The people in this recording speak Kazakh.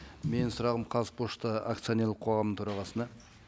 менің сұрағым қазпошта акционерлік қоғамның төрағасына